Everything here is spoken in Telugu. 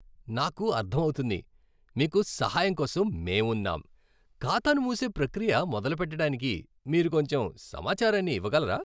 నాకు అర్థమవుతుంది. మీకు సహాయంకోసం మేమున్నాం. ఖాతాను మూసే ప్రక్రియ మొదలు పెట్టడానికి మీరు కొంచెం సమాచారాన్ని ఇవ్వగలరా?